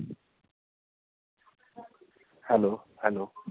Hello hello